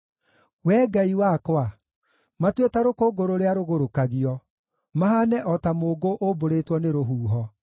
Wee Ngai wakwa, matue ta rũkũngũ rũrĩa rũgũrũkagio, mahaane o ta mũũngũ ũmbũrĩtwo nĩ rũhuho.